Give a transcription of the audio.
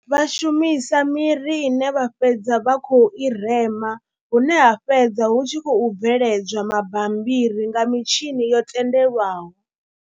Vha shumisa miri ine vha fhedza vha khou i rema hune ha fhedza hu tshi khou bveledzwa mabambiri nga mitshini yo tendelwaho.